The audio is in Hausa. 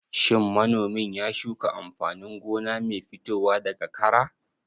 Shin manomin ya shuka amfanin gona mai fitowa daga kara?